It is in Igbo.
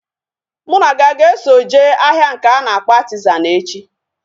Mụ na gị a ga-eso jee ahịa nke a na-akpọ Artizan echi?